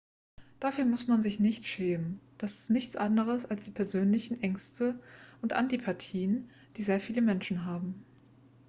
dafür muss man sich nicht schämen das ist nichts anderes als die persönlichen ängste und antipathien die sehr viele menschen haben